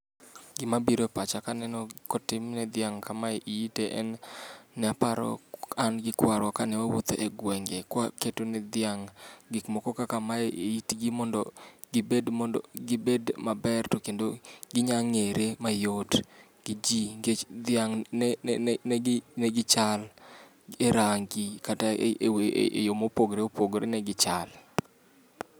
Gima biro e pacha kaneno ka otim ne dhiang' kame eite en ni aparo an gi kwarua kane wawuotho egwenge ka waketo ne dhiang' gik moko kaka mae eitgi mondo gibed mondo gibed maber to kendo ginyalo ng'ere mayot ne ji nikech dhiang' ne gi negi negichal erangi kata eyo mopogore opogore negichal.